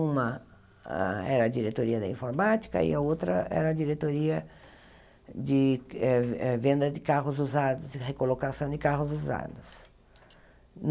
Uma ah era a diretoria da informática e a outra era a diretoria de eh eh venda de carros usados e recolocação de carros usados.